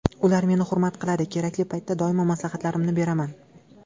Ular meni hurmat qiladi, kerakli paytda doimo maslahatlarimni beraman.